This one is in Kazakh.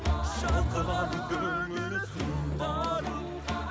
шалқыған көңіл сұнқарым